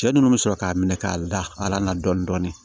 Cɛ nunnu bɛ sɔrɔ k'a minɛ k'a da na dɔɔnin dɔɔnin